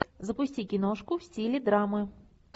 запусти киношку в стиле драмы